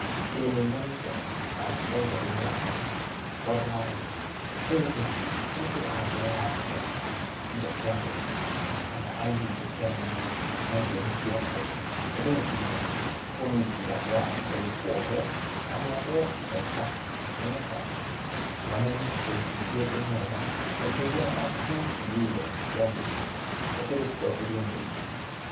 Ĩĩ nĩnyonire, na ndaigua ndĩmũrakaru biũ, tondũ wa rĩrĩ, rĩu-rĩ, mũndũ angĩoya atĩa, indo cia mũingĩ, kana aiye indo cia mũingĩ, na nĩtũĩ nĩciake. Ũndũ ũyũ ti mwega, kuoguo niĩ ingĩuga andũ aya mabataire kuohũo, na mohũo maica, nĩgetha mamenye wĩici ti ũndũ mwega, na indo iria mekuwire cia mũingĩ, cibatairio cicokerio mũingĩ.